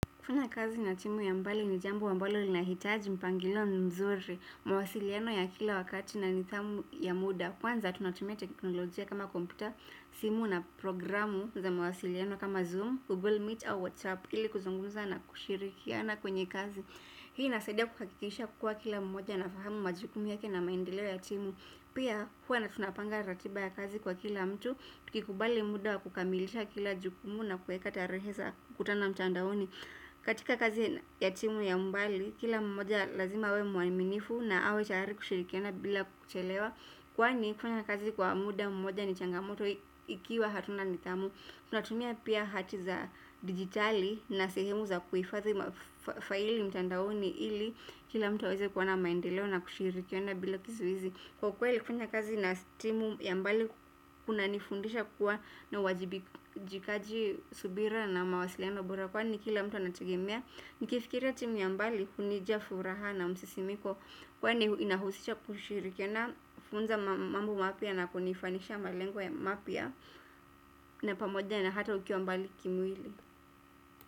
Kufanya kazi na timu ya mbali ni jambo ambalo linahitaji mpangilio mzuri, mawasiliano ya kila wakati na nidhamu ya muda. Kwanza tunatumia teknolojia kama kompyuta, simu na programu za mawasiliano kama zoom, google meet au whatsapp, ili kuzungumza na kushirikiana kwenye kazi. Hii inasaidia kuhakikisha kuwa kila mmoja anafahamu majukumu yake na maendeleo ya timu. Pia huwa na tunapanga ratiba ya kazi kwa kila mtu, ukikubali muda wa kukamilisha kila jukumu na kuweka tarehe za kukutana mtandaoni. Katika kazi ya timu ya mbali, kila mmoja lazima awe mwaminifu na awe tayari kushirikiana bila kuchelewa. Kwani kufanya kazi kwa muda mmoja ni changamoto ikiwa hatuna nidhamu. Tunatumia pia hati za dijitali na sehemu za kuhifadhi faili mtandaoni ili kila mtu aweze kuona maendeleo na kushirikiana bila kizuizi. Kwa kweli kufanya kazi na timu ya mbali kunanifundisha kuwa na ywajibijikaji, subira na mawasiliano bora kwani kila mtu anategemea. Nikifikiria timu ya mbali hunija furaha na msisimiko kwani inahusisha kushirikiana kufunza mambo mapya na kunifanyisha malengo mapya na pamoja na hata ukiwa mbali kimwili.